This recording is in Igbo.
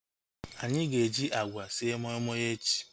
Anyị ga-eji agwa sie moi moi echi